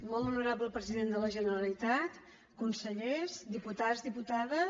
molt honorable president de la generalitat consellers diputats diputades